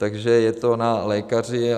Takže je to na lékaři.